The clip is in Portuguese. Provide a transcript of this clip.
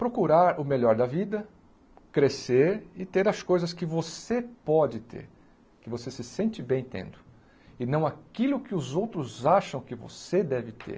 Procurar o melhor da vida, crescer e ter as coisas que você pode ter, que você se sente bem tendo, e não aquilo que os outros acham que você deve ter.